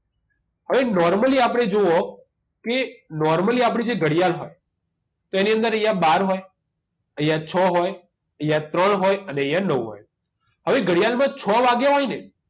હવે normally આપણે જુઓ કે normally આપણે જે ઘડિયાળ હોય તેની અંદર અહીંયા બાર હોય અહીંયા છ હોય અહીંયા ત્રણ હોય અને અહીંયા નવ હોય હવે ઘડિયાળમાં છ વાગ્યા હોય ને